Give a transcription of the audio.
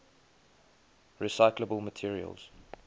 recyclable materials